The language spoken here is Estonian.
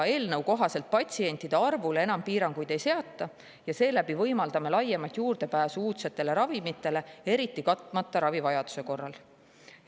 Eelnõu kohaselt patsientide arvule enam piiranguid ei seata, seeläbi võimaldame laiemat juurdepääsu uudsetele ravimitele, eriti katmata ravivajaduse korral.